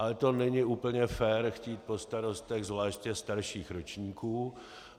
Ale to není úplně fér chtít po starostech, zvláště starších ročníků.